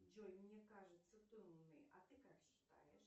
джой мне кажется ты умный а ты как считаешь